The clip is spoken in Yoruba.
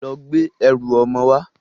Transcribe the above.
Lọ gbé ẹrù ọmọ wá!